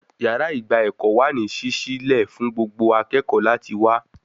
Yàrá ìgba ẹ̀kọ́ wà ní sísí lẹ̀ fún gbogbo akẹ́kọ̀ọ́ láti wá